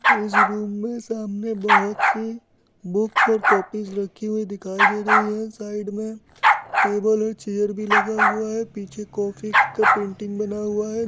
इस रूम मे सामने बहुत सी बुक्स और कॉपीस रखी हुई दिखाई दे रही है । साइड मे टेबल और चेयर भी लगा हुआ है । पीछे कॉफी का पेंटिंग बना हुआ है।